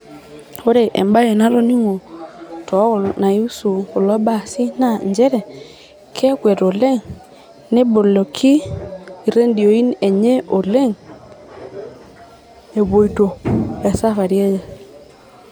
Ore embae natoningo tol, naihusu kulo baasi naa nchere kekwet oleng ,neboloki iredioi enye oleng epuoito te safari enye.